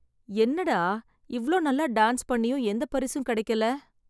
என்னடா இவ்ளோ நல்லா டான்ஸ் பண்ணியும் எந்த பரிசும் கிடைக்கல.